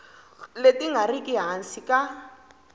leti nga riki hansi ka